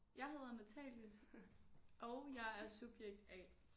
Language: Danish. Jeg hedder Natalie og jeg er subjekt A